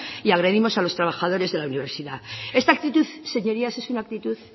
y agredimos a los trabajadores de la universidad esta actitud señorías es una actitud